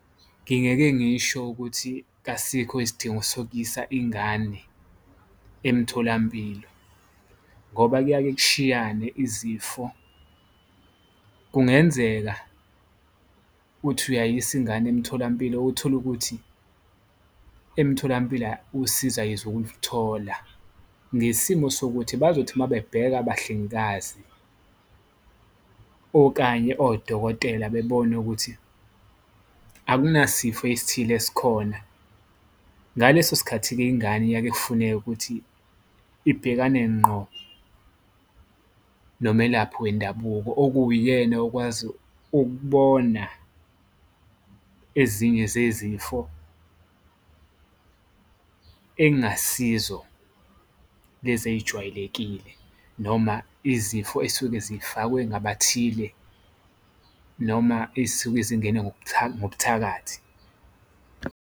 Ngingeke ngisho ukuthi kasikho isidingo sokuyisa ingane emtholampilo ngoba kuyake kushiyane izifo, kungenzeka uthi uyayisa ingane emtholampilo utholukuthi emtholampilo usizo ayizukuluthola. Ngesimo sokuthi bazothi uma bebheka abahlengikazi okanye odokotela, bebone ukuthi akunasifo esithile esikhona, ngaleso sikhathi-ke ingane iyake ifuneke ukuthi ibhekane ngqo nomelaphi wendabuko. Okuwuyena okwazi ukubona ezinye zezifo engasizo lezi eyijwayelekile noma izifo ezisuke zifakwe abathile noma eyisuke zingene ngobuthakathi.